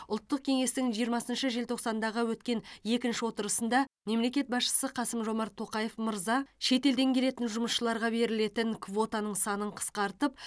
ұлттық кеңестің жиырмасыншы желтоқсандағы өткен екінші отырысында мемлекет басшысы қасым жомарт тоқаев мырза шетелден келетін жұмысшыларға берілетін квотаның санын қысқартып